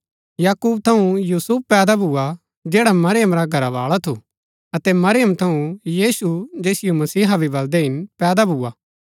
याकूब थऊँ यूसुफ पैदा भुआ जैडा मरियम रा घरावाळा थु अतै मरियम थऊँ यीशु जैसिओ मसीहा भी बलदै हिन पैदा भुआ